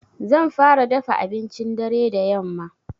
Zan fara dafa abincin dare da yamma.